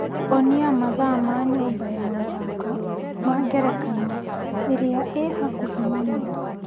Onia mathaa ma nyũmba ya mathako ma ngerekano ĩrĩa ĩ hakuhĩ mũno .